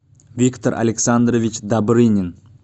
виктор александрович добрынин